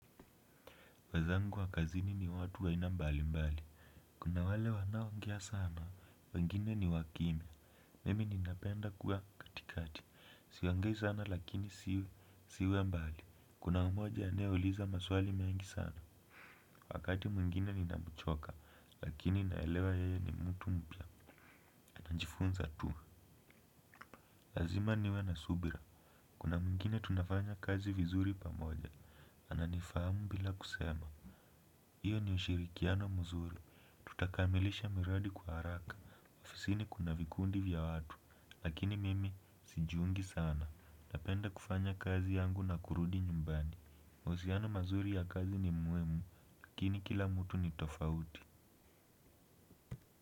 Wenzangu wa kazini ni watu wa aina mbali mbali. Kuna wale wanaoongea sana, wengine ni wakimya, mimi ninapenda kuwa katikati, siongei sana lakini siwe mbali. Kuna mmoja anayeuliza maswali mengi sana, wakati mwingine ninamuchoka lakini naelewa yeye ni mtu mpya. Najifunza tu, lazima niwe na subira. Kuna mwingine tunafanya kazi vizuri pamoja, ananifahamu bila kusema. Hiyo ni ushirikiano mzuri. Tutakamilisha miradi kwa haraka. Ofisini kuna vikundi vya watu. Lakini mimi, sijiungi sana. Napenda kufanya kazi yangu na kurudi nyumbani. Wahusiano mazuri ya kazi ni muhimu, lakini kila mtu ni tofauti.